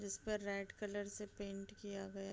जिस पे red colour से पेंट किया गया --